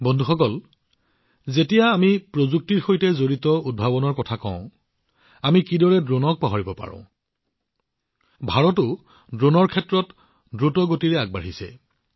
বন্ধুসকল যেতিয়া আমি প্ৰযুক্তিৰ সৈতে সম্পৰ্কিত উদ্ভাৱনৰ কথা কওঁ আমি ড্ৰোনবোৰৰ কথা কেনেকৈ পাহৰিব পাৰোঁ ভাৰতেও ড্ৰোনৰ ক্ষেত্ৰত দ্ৰুতগতিত আগবাঢ়িছে